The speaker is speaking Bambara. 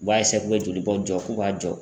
U b'a k'u bɛ jolibɔ jɔ k'u b'a jɔ!